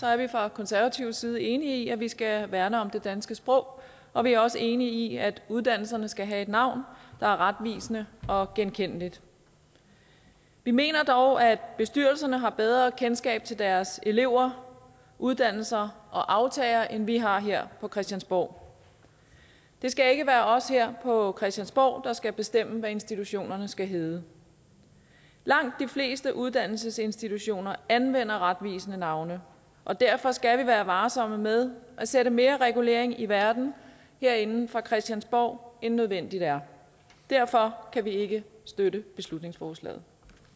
er vi fra konservativ side enige i at vi skal værne om det danske sprog og vi er også enige i at uddannelserne skal have et navn der er retvisende og genkendeligt vi mener dog at bestyrelserne har bedre kendskab til deres elever uddannelser og aftagere end vi har her på christiansborg det skal ikke være os her på christiansborg der skal bestemme hvad institutionerne skal hedde langt de fleste uddannelsesinstitutioner anvender retvisende navne og derfor skal vi være varsomme med at sætte mere regulering i verden herinde fra christiansborg end nødvendigt er derfor kan vi ikke støtte beslutningsforslaget